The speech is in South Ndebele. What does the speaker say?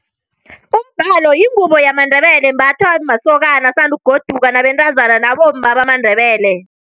Umbalo yingubo yamaNdebele embathwa masokana asandukugoduka, nabentazana nabomma bamaNdebele.